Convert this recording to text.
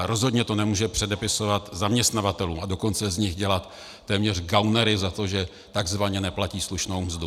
Ale rozhodně to nemůže předepisovat zaměstnavatelům, a dokonce z nich dělat téměř gaunery za to, že takzvaně neplatí slušnou mzdu.